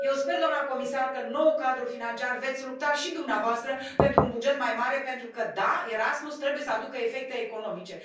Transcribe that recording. Eu sper, doamnă comisar, că în noul cadru financiar veți lupta și dumneavoastră pentru un buget mai mare, pentru că, da, Erasmus trebuie să aducă efecte economice.